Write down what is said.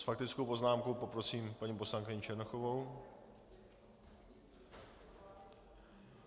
S faktickou poznámkou poprosím paní poslankyni Černochovou.